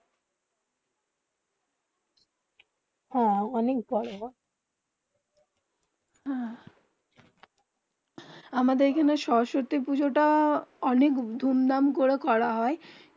হেঁ অনেক বোরো করে হয়ে আমাদের এখানে সরস্বতী পুজো তা অনেক ধূম ধাম করে করে করা হয়ে